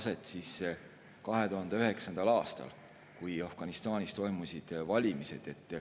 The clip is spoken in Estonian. See leidis aset 2009. aastal, kui Afganistanis toimusid valimised.